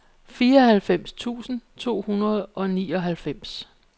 fireoghalvfems tusind to hundrede og nioghalvfems